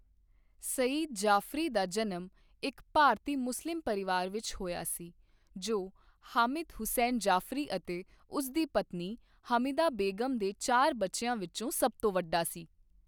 ਸਈਦ ਜਾਫ਼ਰੀ ਦਾ ਜਨਮ ਇੱਕ ਭਾਰਤੀ ਮੁਸਲਿਮ ਪਰਿਵਾਰ ਵਿੱਚ ਹੋਇਆ ਸੀ, ਜੋ ਹਾਮਿਦ ਹੁਸੈਨ ਜਾਫ਼ਰੀ ਅਤੇ ਉਸ ਦੀ ਪਤਨੀ ਹਮੀਦਾ ਬੇਗਮ ਦੇ ਚਾਰ ਬੱਚਿਆਂ ਵਿੱਚੋਂ ਸਭ ਤੋਂ ਵੱਡਾ ਸੀ।